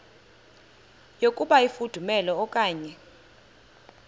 yokuba ifudumele okanye